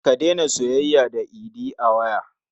Kande tana soyayya da Idi a waya.